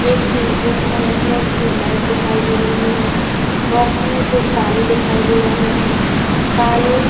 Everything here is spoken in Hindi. एक टी रूम है। इसमें एक ट्यूबलाइट दिखाई दे रही है। बॉक्स में दो ताले दिखाई दे रहे हैं। ताले --